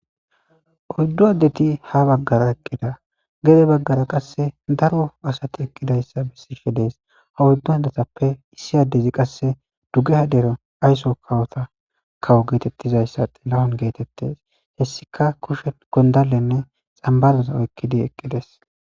Oyddu addeti ha baggara eqqida gede baggar qasse daro asati eqqidayssa bissishe dees ha oyddu hadatappe issi addezi qasse dugeha dero aysso kawota kawo geetettizayssaelawon geetettes hessika kushe gondalenne xambazaza oykkidi eqqides.